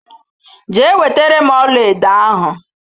Jee wetere m ọlaedo ahụ!